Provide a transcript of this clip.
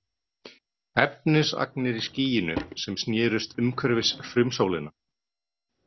Efnisagnir í skýinu sem snerust umhverfis frumsólina.